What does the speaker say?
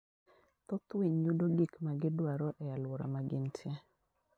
Thoth winy yudo gik ma gidwaro e aluora magintie.